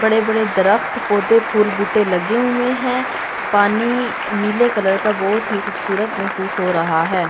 बड़े-बड़े दरख्त पौधे फूल बूटे लगे हुए हैं पानी नीले कलर का बहुत ही खूबसूरत महसूस हो रहा है।